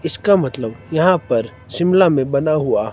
इसका मतलब यहां पर शिमला में बना हुआ--